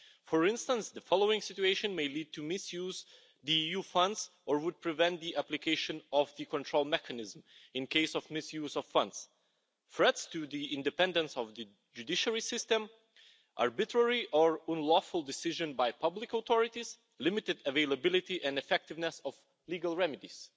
For instance, the following situations may lead to misuse of the EU funds or would prevent the application of the control mechanism in case of misuse of funds threats to the independence of the judiciary system, arbitrary or unlawful decisions by public authorities, limited availability and effectiveness of legal remedies,